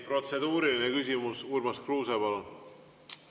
Protseduuriline küsimus, Urmas Kruuse, palun!